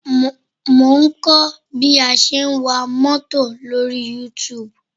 Mo ń kọ́ bí a ṣe ń wa mọ́tò lórí Youtube